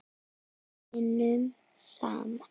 Við vinnum saman!